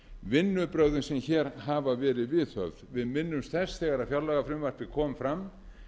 vinnubrögðin sem hér hafa verið viðhöfð við minnumst þess þegar fjárlagafrumvarpið kom fram